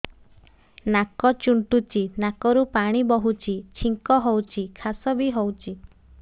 ନାକ ଚୁଣ୍ଟୁଚି ନାକରୁ ପାଣି ବହୁଛି ଛିଙ୍କ ହଉଚି ଖାସ ବି ହଉଚି